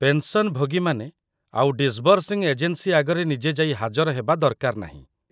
ପେନ୍‌ସନ୍‌ଭୋଗୀମାନେ ଆଉ disbursing agency ଆଗରେ ନିଜେ ଯାଇ ହାଜର ହେବା ଦରକାର ନାହିଁ ।